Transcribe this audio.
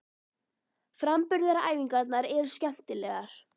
Framburðaræfingarnar eru skemmtilegar.